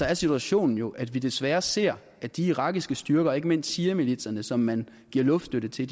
er situationen jo at vi desværre ser at de irakiske styrker ikke mindst shiamilitserne som man giver luftstøtte til